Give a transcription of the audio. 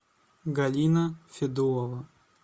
галина федулова